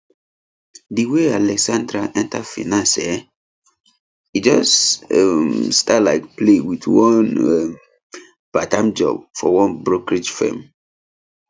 di way alexandra enter finance[um]e just um start like play with one um parttime job for one brokerage firm